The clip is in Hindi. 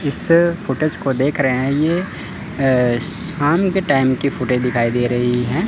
इससे फुटेज को देख रहे हैं यह अह शाम के टाइम की फुटेज दिखाई दे रही है।